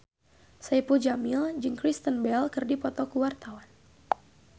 Saipul Jamil jeung Kristen Bell keur dipoto ku wartawan